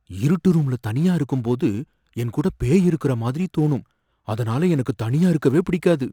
இருட்டு ரூம்ல தனியா இருக்கும்போது என்கூட பேய் இருக்கற மாதிரி தோணும், அதனால எனக்கு தனியா இருக்கவே பிடிக்காது